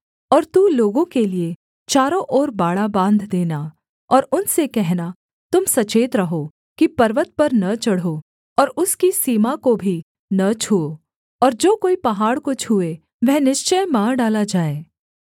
और तू लोगों के लिये चारों ओर बाड़ा बाँध देना और उनसे कहना तुम सचेत रहो कि पर्वत पर न चढ़ो और उसकी सीमा को भी न छूओ और जो कोई पहाड़ को छूए वह निश्चय मार डाला जाए